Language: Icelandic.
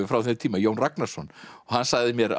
frá þeim tíma Jón Ragnarsson og hann sagði mér